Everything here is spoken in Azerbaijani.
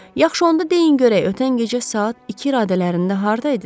Yaxşı, onda deyin görək ötən gecə saat iki radələrində hardaydınız?